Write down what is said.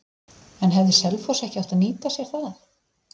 En hefði Selfoss ekki átt að nýta sér það?